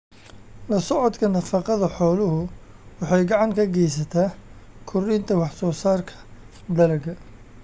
La socodka nafaqada xooluhu waxay gacan ka geysataa kordhinta wax soo saarka dalagga.